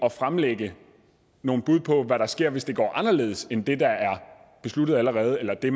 at fremlægge nogle bud på hvad der sker hvis det går anderledes end det der er besluttet allerede eller det